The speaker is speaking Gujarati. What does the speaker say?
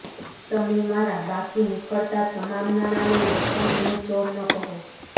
તમે મારાં બાકી નીકળતાં તમામ નાણાં લઈ લો પણ મને ચોર ન કહો